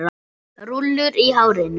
Rúllur í hárinu.